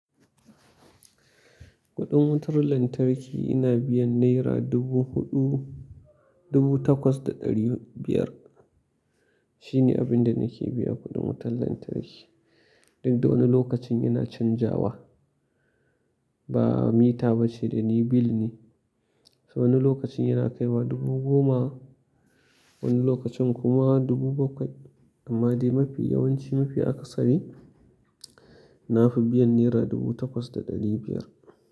Kuɗin wutar lantarki ina biyan naira dubu huɗu, dubu takwas da ɗari biyar. Shi ne abin da nake biya kuɗin wutar lantarki. Duk da wani lokacin ina canjawa, ba mita ba ce dani bill ne. So wani lokacin yana kai wa dubu goma, wani lokacin kuma dubu bakwai. Amma dai mafi yawanci mafi akasari na fi biyan naira dubu takwas da ɗari biyar.